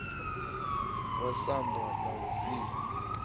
wa samba la u via